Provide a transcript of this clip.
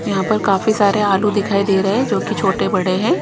यहां पर काफी सारे आलू दिखाई दे रहे हैं जो कि छोटे-बड़े हैं।